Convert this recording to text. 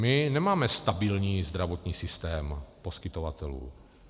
My nemáme stabilní zdravotní systém poskytovatelů.